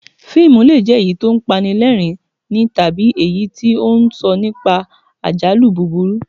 Fíìmù le è jẹ́ èyí tí ó ń pa ni lẹ́rìn-ín tàbí èyí tí ó ń sọ nípa àjálù búburú